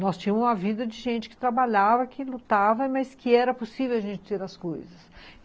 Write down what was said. Nós tínhamos uma vida de gente que trabalhava, que lutava, mas que era possível a gente ter as coisas.